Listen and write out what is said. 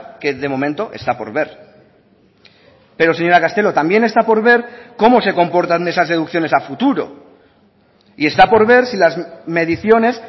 que de momento está por ver pero señora castelo también está por ver cómo se comportan esas deducciones a futuro y está por ver si las mediciones